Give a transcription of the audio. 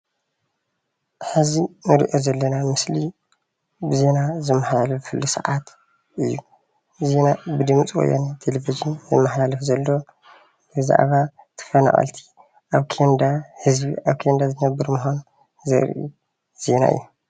ሐዚ እንሪኦ ዘለና ምስሊ ብዜና ዝመሓላለፈሉ ሰዓት እዩ። ዜና ብድምፀወያነ ቴሌቭዥን ዝመሓላለፍ ዘሎ ብዛዕባ ተፈናቀልቲ ህዝቢ ኣብ ኬንዳ ዝነብሩ ምዃኑ ዘርኢ ምስሊ እዩ።